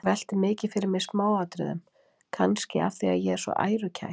Ég velti mikið fyrir mér smáatriðum, kannski af því að ég er svo ærukær.